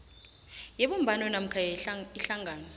yebumbano namkha ihlangano